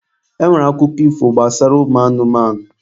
E nwere akụkọ ifo gbasara ụmụ anụmanụ.